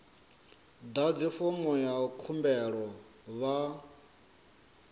ḓadze fomo ya khumbelo vha